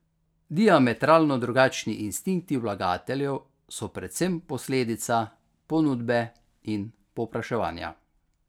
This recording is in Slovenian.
Diametralno drugačni instinkti vlagateljev so predvsem posledica ponudbe in povpraševanja.